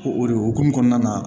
O o de hokumu kɔnɔna na